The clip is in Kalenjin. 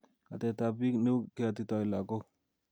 Ateptab piik neu keatitoi lakok